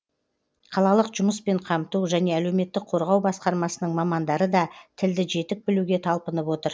қалалық жұмыспен қамту және әлеуметтік қорғау басқармасының мамандары да тілді жетік білуге талпынып отыр